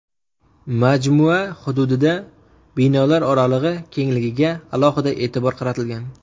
Majmua hududida binolar oralig‘i kengligiga alohida e’tibor qaratilgan.